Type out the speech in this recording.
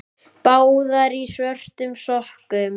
Báðar í svörtum sokkum.